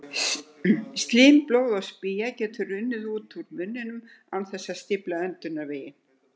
Slím, blóð og spýja getur runnið úr úr munninum án þess að stífla öndunarveginn.